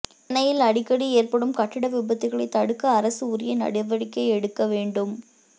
சென்னையில் அடிக்கடி ஏற்படும் கட்டட விபத்துகளைத் தடுக்க அரசு உரிய நடவடிக்கை எடுக்க வேண்டும்